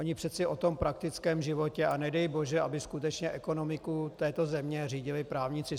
Oni přece o tom praktickém životě - a nedej bože, aby skutečně ekonomiku této země řídili právníci.